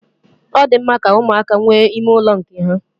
Ọ di mma ka ụmụaka nwee ime ụlọ nke ha.